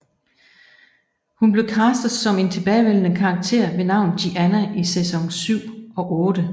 Hun blev castet som en tilbagevendende karakter ved navn Gianna i sæson syv og otte